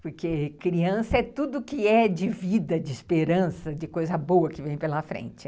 Porque criança é tudo que é de vida, de esperança, de coisa boa que vem pela frente.